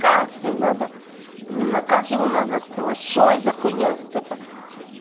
как с ним надо как его надо открывать что за хуйня какая-то